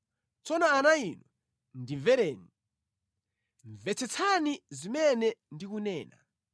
Tsono ana inu, ndimvereni; mvetsetsani zimene ndikunena.